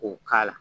K'o k'a la